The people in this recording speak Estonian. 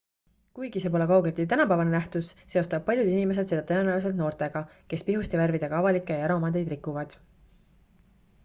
kuigi see pole kaugeltki tänapäevane nähtus seostavad paljud inimesed seda tõenäoliselt noortega kes pihustivärvidega avalikke ja eraomandeid rikuvad